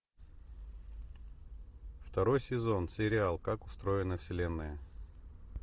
второй сезон сериал как устроена вселенная